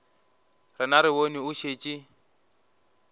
rena re bone o šetše